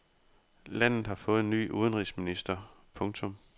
Landet har fået ny udenrigsminister. punktum